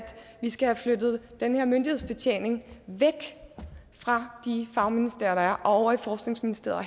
vi skal have flyttet den her myndighedsbetjening væk fra de fagministerier der er og over i forskningsministeriet